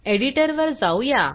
एडिटरवर जाऊ या